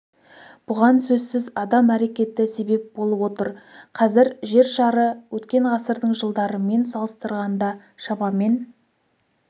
бұған сөзсіз адам әрекеті себеп болып отыр қазір жер шары өткен ғасырдың жылдарымен салыстырғанда шамамен